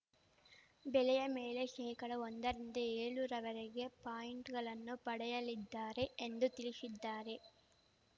ಬೆಲೆಯ ಮೇಲೆ ಶೇಕಡ ಒಂದ ರಿಂದ ಏಳ ರವರೆಗೆ ಪಾಯಿಂಟ್‌ಗಳನ್ನು ಪಡೆಯಲಿದ್ದಾರೆ ಎಂದು ತಿಳಿಶಿದ್ದಾರೆ